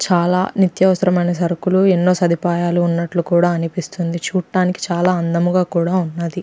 చాలా నిత్యవసరమైన సరుకులు ఎన్నో సదుపాయాలు ఉన్నట్లు కూడా అనిపిస్తుంది. చూడ్డానికి చాలా అందంగా కూడా ఉన్నది.